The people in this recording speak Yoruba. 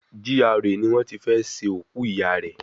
GRA ni wọ́n tí fẹ́ ṣe òkú ìyá rẹ̀